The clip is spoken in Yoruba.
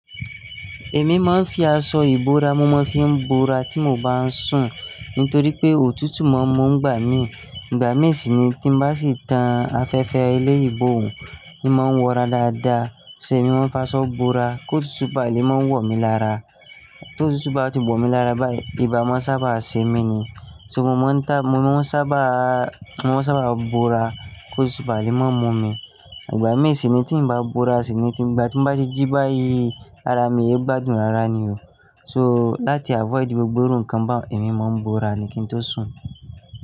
Èmi máa ń fi aṣọ ìbora mo máa ń fi bora tí mo bá ń sùn nítorí pé òtútù máa ń mu ngbà mí. Ìgbà mí sì ni tí bá sì tan afẹ́fẹ́ ilé ìbò òún, i máa ń wọra dáadáa. So èmi máa ń fa aṣọ bora kó òtútù báà lè máa wò mí lára. Ti òtútù bá ti wò mí lára báyìí, ibà máa ń sábà se mí ni. So mo máa ń ta-- mo máa ń sábà, mo máa ń sábà bora kó òtútù bá lè máa mú mi. Ìgbà mí sì ni tí ń bá bora sì ni tí ń bá, tí ń bá ti jí báyìí, ara mi oohun gbádùn rara ni o. So láti avoid gbogbo iru ńkan bá, èmi máa ń bora ni kí n tó sùn.